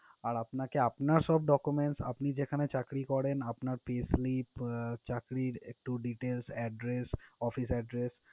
আর আপনাকে আপনার সব documents, আপনি যেখানে চাকরি করেন, আপনার payslip, চাকরির একটু details address, office address